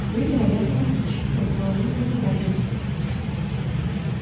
вы вероятно москвич предположил мой сотрапезник